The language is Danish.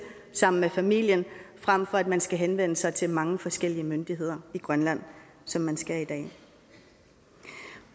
sammen med familien frem for at man skal henvende sig til mange forskellige myndigheder i grønland som man skal i dag